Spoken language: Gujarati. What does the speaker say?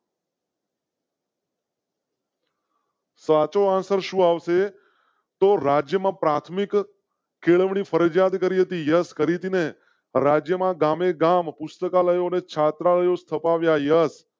સાચો answer આવશે તો રાજ્ય માં પ્રાથમિક કેળવણી ફરજીયાત કરી હતી. યસ કરી ને રાજ્ય માં ગામેગામ પુસ્તકાલય અને છાત્રાઓ સ્થપાય અસ